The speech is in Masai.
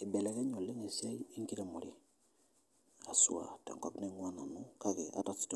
Eibelekenye oleng esiai enkiremore aswa te nkop naing'ua nanu kake ata si